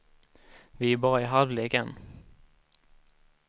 Vi är bara i halvlek än.